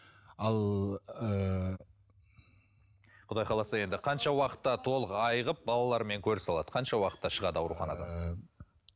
ал ыыы құдай қаласа енді қанша уақытта толық айығып балаларымен көрісе алады қанша уақытта шығады ауруханадан ыыы